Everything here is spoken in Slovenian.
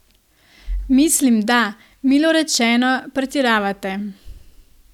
Mislim da, milo rečeno, pretiravate.